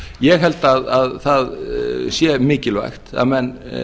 ég held að það sé mikilvægt að menn